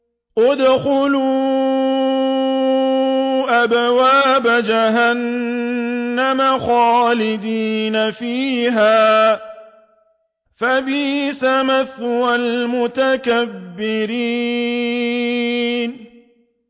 ادْخُلُوا أَبْوَابَ جَهَنَّمَ خَالِدِينَ فِيهَا ۖ فَبِئْسَ مَثْوَى الْمُتَكَبِّرِينَ